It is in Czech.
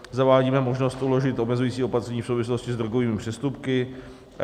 Zavádíme možnost uložit omezující opatření v souvislosti s drogovými přestupky.